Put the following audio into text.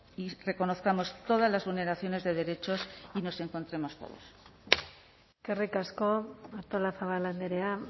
y reconozcamos todas las vulneraciones de derechos y nos encontremos todos eskerrik asko artolazabal andrea